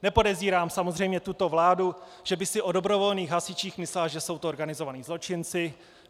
Nepodezírám samozřejmě tuto vládu, že by si o dobrovolných hasičích myslela, že jsou to organizovaní zločinci.